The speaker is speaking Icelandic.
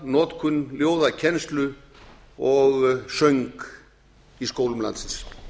ljóðanotkun ljóðakennslu og söng í skólum landsins